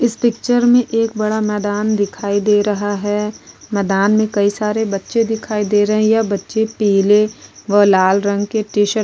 इस पिक्चर में एक बड़ा मैदान दिखाई दे रहा है मैदान में कई सारे बच्चे दिखाई दे रहे हैं या बच्चे पीले व लाल रंग के टीशर्ट --